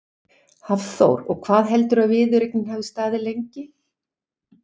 Hafþór: Og hvað heldurðu að viðureignin hafi staðið lengi?